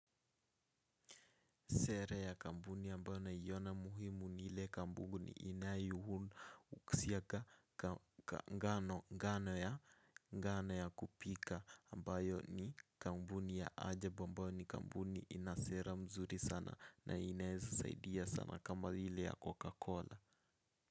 Sera ya kampuni ambayo naiona muhimu ni ile kampuni inayu husiaka ngano ngano ya kupika ambayo ni kampuni ya ajab ambayo ni kampuni inasera mzuri sana na inaeza saidia sana kama ile ya coca cola.